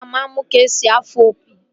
Aga m amụ ka-esi afụ opi